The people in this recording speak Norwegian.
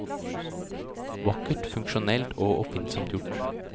Vakkert, funksjonelt og oppfinnsomt gjort.